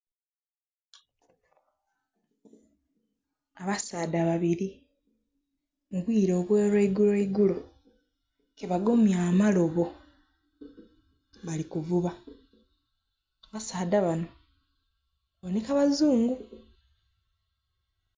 Abasaadha babiri obwire obwolwa iguloigulo kebagemye amalobo bali kuvuba abasaadha bano babooneka abazungu.